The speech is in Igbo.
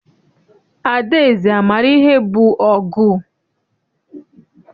Adaeze amaara ihe bụ ọgụ?